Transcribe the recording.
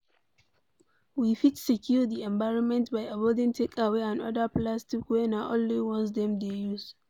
We fit secure di environment by avoiding takeaway and oda plastic wey na only once dem dey use